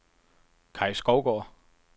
Kai Skovgaard